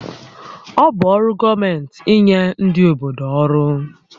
Ọ bụ ọrụ ndị gọọmenti ínyé ndị obodo ọrụ